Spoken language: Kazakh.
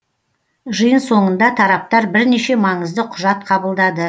жиын соңында тараптар бірнеше маңызды құжат қабылдады